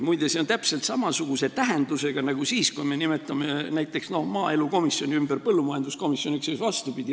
Muide, see on täpselt samasuguse tähendusega nagu see, kui me nimetame näiteks maaelukomisjoni põllumajanduskomisjoniks ja siis vastupidi.